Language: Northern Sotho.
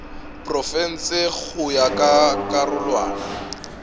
profense go ya ka karolwana